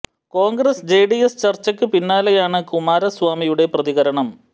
Congress J D S ചര്ച്ചക്കു പിന്നാലെയാണ് കുമാരസ്വാമിയുടെ പ്രതികരണം